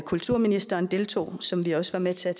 kulturministeren deltog som vi også var med til at